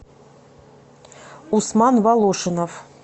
усман волошинов